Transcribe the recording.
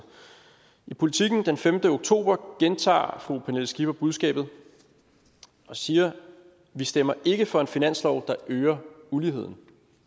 i politiken den femte oktober gentager fru pernille skipper budskabet og siger vi stemmer ikke for en finanslov der øger uligheden